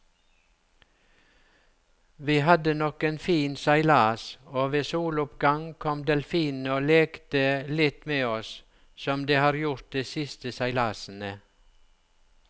Vi hadde nok en fin seilas, og ved soloppgang kom delfinene og lekte litt med oss som de har gjort de siste seilasene.